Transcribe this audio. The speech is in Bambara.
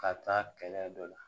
Ka taa kɛlɛ dɔ la